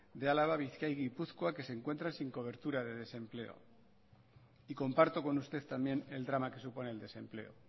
de álava bizkaia y gipuzkoa que se encuentran sin cobertura de desempleo y comparto con usted también el drama que supone el desempleo